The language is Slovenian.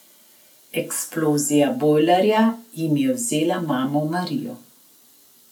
Eksplozija bojlerja jim je vzela mamo Marijo.